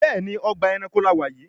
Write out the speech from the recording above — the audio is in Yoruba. Béèni Ọgbà ẹranko là wá yí.